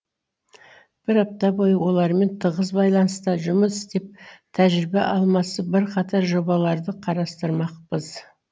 бір апта бойы олармен тығыз байланыста жұмыс істеп тәжірибе алмасып бірқатар жобаларды қарастырмақпыз